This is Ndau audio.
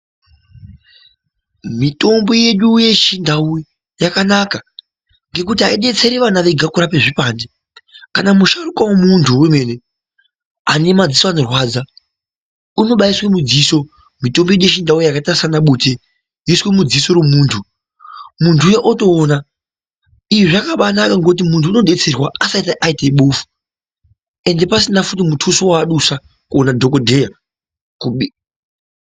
Mitombo yedu yechindau yakanaka ngekuti haidetseri vana Vega kurapa zvipande kana musharukwa wemuntu wemene ane madziso anorwadza unkbaiswa mudziso mitombo yedu yechindau yakaita sana bute yoiswa mudziso memuntu muntu uya otoona izvi zvakabanaka ngekuti muntu anodetserwa asati aita bofu ende pasina futi mutuso waadusa kumadhokodheya.